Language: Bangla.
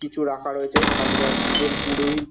কিছু রাখা রয়েছে সামনে এক-জন পুরোহিত--